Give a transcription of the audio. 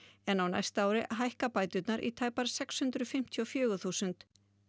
en á næsta ári hækka bæturnar í tæpar sex hundruð fimmtíu og fjögur þúsund